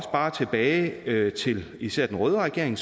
bare tilbage til især den røde regering